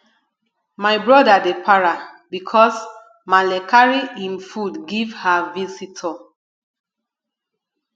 my brother dey para bicos maale carry im food give her visitor